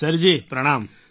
sir ji પ્રણામ